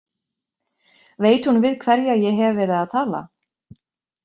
Veit hún við hverja ég hef verið að tala?